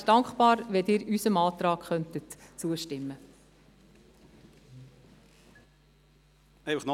Ich wäre dankbar, wenn Sie unserem Antrag zustimmen könnten.